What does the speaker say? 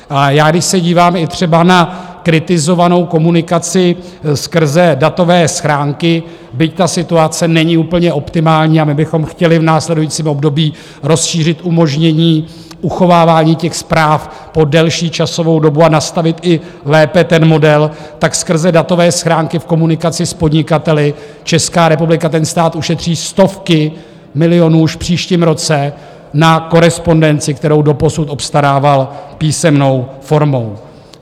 A když se dívám i třeba na kritizovanou komunikaci skrze datové schránky, byť ta situace není úplně optimální a my bychom chtěli v následujícím období rozšířit umožnění uchovávání těch zpráv po delší časovou dobu a nastavit i lépe ten model, tak skrze datové schránky v komunikaci s podnikateli Česká republika, ten stát, ušetří stovky milionů už v příštím roce na korespondenci, kterou doposud obstarával písemnou formou.